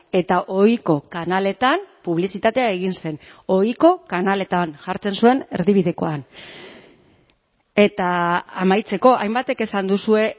eta ohiko kanaletan publizitatea egin zen ohiko kanaletan jartzen zuen erdibidekoan eta amaitzeko hainbatek esan duzue